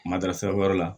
Matarasi wɛrɛ la